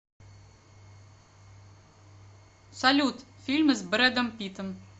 салют фильмы с брэдом питом